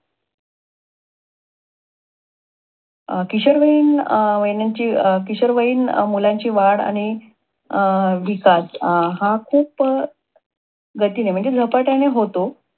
अं किशोरवयीन मुलांची किशोरवयीन मुलांची वाढ आणि अं विकास हा खूप गतीने म्हणजे झपाट्याने होतो.